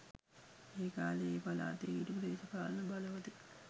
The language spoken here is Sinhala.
ඒ කාලේ ඒ පලාතේ හිටපු දේශපාලන බලවතෙක්